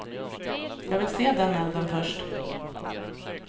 Jag vill se den elden först.